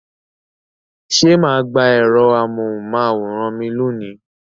Ṣé ma gba ẹ̀rọ amóhùn máwòrán mi lónìí?